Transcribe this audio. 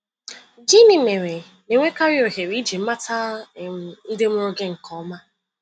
Gịnị mere na-enwekarị ohere iji mata um ndị mụrụ gị nke ọma?